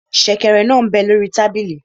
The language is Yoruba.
Sẹ̀kẹ̀rẹ̀ náà m bẹ lórí tábìlì